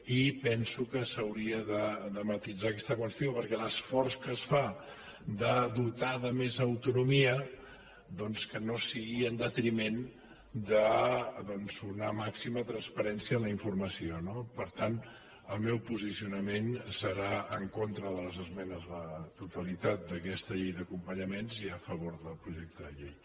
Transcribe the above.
i penso que s’hauria de matisar aquesta qüestió perquè l’esforç que es fa de dotar de més autonomia doncs que no sigui en detriment d’una màxima transparència en la informació no per tant el meu posicionament serà en contra de les esmenes a la totalitat a aquesta llei d’acompanyament sí a favor del projecte de llei